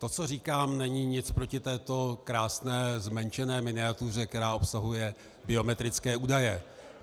To, co říkám, není nic proti této krásné zmenšené miniatuře, která obsahuje biometrické údaje.